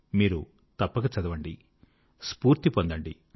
మీరు తప్పక చదవండి స్ఫూర్తి పొందండి